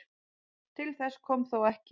Til þess kom þó ekki